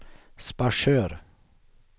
Sparsör